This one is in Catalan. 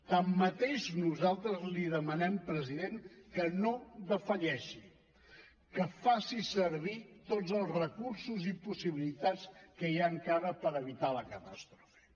tanmateix nosaltres li demanem president que no defalleixi que faci servir tots els recursos i les possibilitats que hi ha encara per evitar la catàstrofe